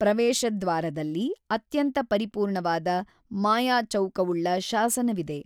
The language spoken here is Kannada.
ಪ್ರವೇಶದ್ವಾರದಲ್ಲಿ ಅತ್ಯಂತ ಪರಿಪೂರ್ಣವಾದ ಮಾಯಾಚೌಕವುಳ್ಳ ಶಾಸನವಿದೆ.